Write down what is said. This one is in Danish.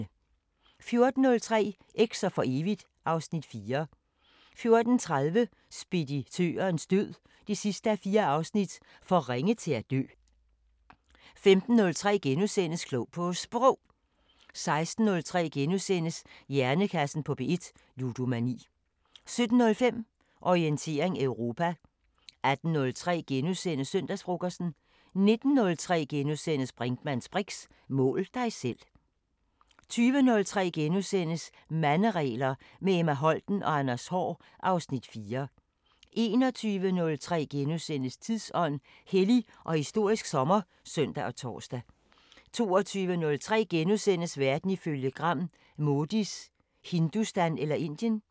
14:03: Eks'er for evigt (Afs. 4) 14:30: Speditørens død 4:4 – For ringe til at dø 15:03: Klog på Sprog * 16:03: Hjernekassen på P1: Ludomani * 17:05: Orientering Europa 18:03: Søndagsfrokosten * 19:03: Brinkmanns briks: Mål dig selv * 20:03: Manderegler – med Emma Holten og Anders Haahr (Afs. 4)* 21:03: Tidsånd: Hellig og historisk sommer *(søn og tor) 22:03: Verden ifølge Gram: Modis "Hindustan" – eller Indien? *